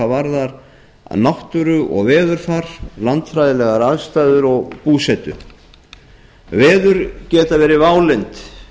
varðar náttúru og veðurfar landfræðilegar aðstæður og búsetu veður geta verið válynd